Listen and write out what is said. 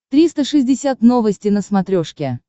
триста шестьдесят новости на смотрешке